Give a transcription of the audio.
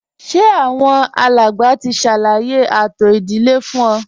Ṣé àwọn alàgbà ti ṣàlàyé ààtò ìdílé fún ọ